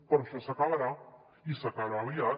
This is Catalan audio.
però això s’acabarà i s’acabarà aviat